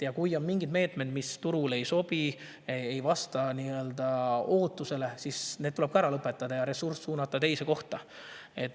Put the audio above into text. Ja kui on mingid meetmed, mis turule ei sobi, ei vasta ootustele, siis tuleb need ära lõpetada ja ressurss suunata teise kohta.